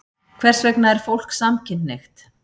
Hvers vegna er fólk samkynhneigt?